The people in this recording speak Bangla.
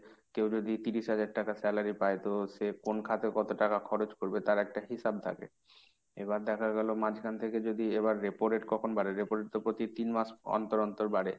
কেউ যদি তিরিশ হাজার টাকা salary পায় তো সে কোন খাতে কত টাকা খরচ করবে তার একটা হিসেব থাকে। এবার দেখা গেল মাঝখান থেকে যদি, এবার repo rate কখন বাড়ে? repo rate তো প্রতি তিন মাস অন্তর অন্তর বাড়ে।